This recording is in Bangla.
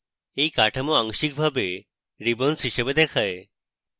এই কাঠামো আংশিকভাবে ribbons হিসাবে দেখায়